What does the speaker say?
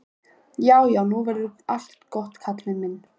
Já, já, nú verður allt gott, Kalli minn.